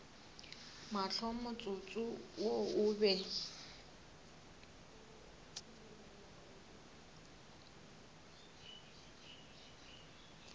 mahlo motsotso wo o be